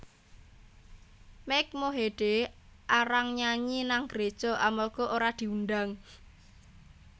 Mike Mohede arang nyanyi nang gereja amarga ora diundang